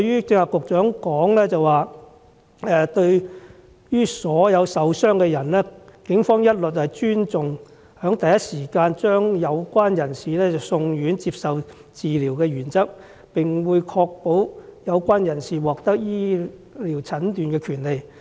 局長剛才亦表示，對於所有受傷的人，警方一律尊重在第一時間將有關人士送院接受治療的原則，並會確保有關人士獲得醫療診治的權利。